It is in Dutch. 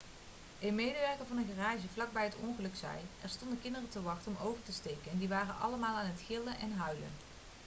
een medewerker van een garage vlak bij het ongeluk zei: 'er stonden kinderen te wachten om over te steken en die waren allemaal aan het gillen en huilen.'